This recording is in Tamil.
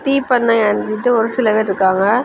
தீப்பந்தம் ஏந்தி ஒரு சில பேர் இருக்காங்க.